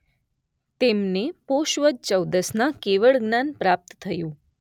તેમને પોષ વદ ચૌદસના કેવળ જ્ઞાન પ્રાપ્ત થયું.